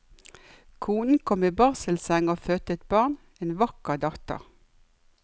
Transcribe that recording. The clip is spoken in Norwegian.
Konen kom i barselseng og fødte et barn, en vakker datter.